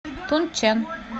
тунчэн